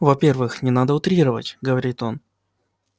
во-первых не надо утрировать говорит он